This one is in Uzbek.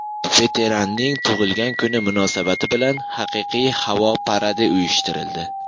Veteranning tug‘ilgan kuni munosabati bilan haqiqiy havo paradi uyushtirildi.